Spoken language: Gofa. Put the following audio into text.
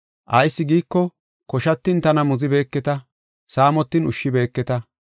Ayis giiko, koshatin tana muzibeeketa; saamotin ushshibeeketa.